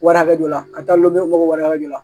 Wari hakɛ dɔ la ka taa lɔnge mɔgɔ wari hakɛ dɔ la